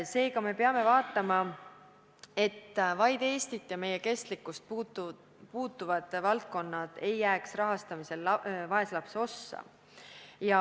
Seega, me peame vaatama, et vaid Eestit puudutavad valdkonnad ei jääks rahastamisel vaeslapse ossa.